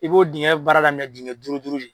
I b'o diŋɛ baara daminɛ diŋɛ duuru duuru de.